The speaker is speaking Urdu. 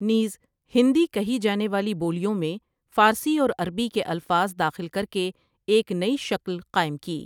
نیز ہندی کہی جانے والی بولیوں میں فارسی اور عربی کے الفاظ داخل کرکے ایک نئی شکل قائم کی ۔